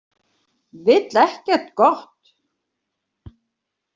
Vill ekkert gott.